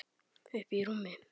Uppí rúmi.